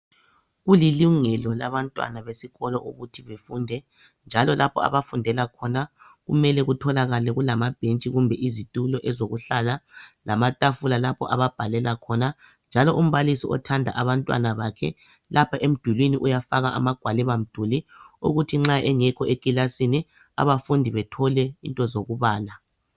Kulilungelo labantwana besikolo ukuthi befunde , njalo lapho abafundela khona kumele kutholakale kulamabhentshi kumbe izitulo ezokuhlala lamatafula lapho ababhalela khona ,njalo umbalisi othanda abantwana bakhe lapha emdulini lapha uyafaka amagwaliba mduli ukuthi nxa engekho ekilasini abafundi bethole izinto zokubala